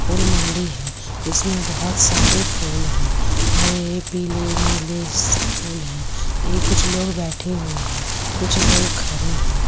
फूल मंडी है इसमें बोहोत सारे फूल हैं हरे पीले नीले ससस फूल हैं ए कुछ लोग बेठे हुए हैं कुछ लोग खड़े हैं।